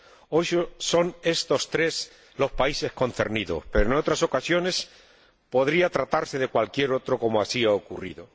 Hoy son estos tres los países concernidos, pero en otras ocasiones podría tratarse de cualquier otro, como así ha ocurrido.